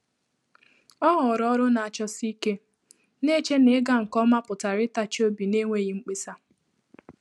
Ọ́ họọrọ ọrụ́ nà-àchọsí íké, nà-échè nà ị́gà nké omà pụ̀tàrà ị́tàchí óbí n’énwéghị́ mkpésà.